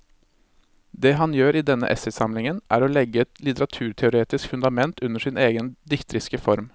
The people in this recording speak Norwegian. Det han gjør i denne essaysamlingen er å legge et litteraturteoretisk fundament under sin egen dikteriske form.